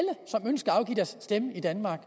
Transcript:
at at stemme i danmark